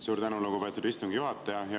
Suur tänu, lugupeetud istungi juhataja!